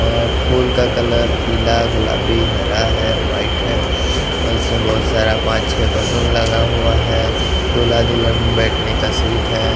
और फूल का कलर पीला गुलाबी हरा है वाइट है और इसमें बहुत सारा पाँच छ बलून लगा हुआ है दूल्हा दुल्हन बैठने का सीट है।